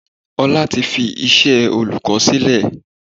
Ọlá tí fi iṣẹ́ olùkọ́ sílè.